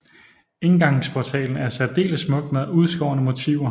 Indgangsportalen er særdeles smuk med udskårne motiver